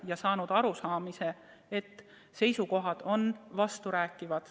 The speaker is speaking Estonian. Ja olen jõudnud arusaamisele, et seisukohad on vasturääkivad.